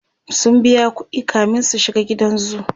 sun biya ƙuɗi kamin su shiga gidan zoo